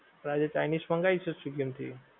તો આજે chinese મંગાઈશું swiggy માંથી